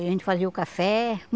A gente fazia o café.